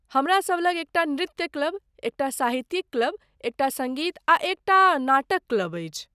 हमरासभ लग एकटा नृत्य क्लब, एकटा साहित्यिक क्लब, एकटा सङ्गीत आ एकटा नाटक क्लब अछि।